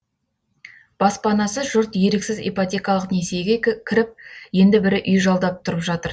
баспанасыз жұрт еріксіз ипотекалық несиеге кіріп енді бірі үй жалдап тұрып жатыр